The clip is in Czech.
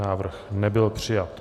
Návrh nebyl přijat.